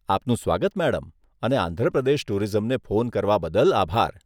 આપનું સ્વાગત મેડમ અને આંધ્ર પ્રદેશ ટુરિઝમને ફોન કરવા બદલ આભાર.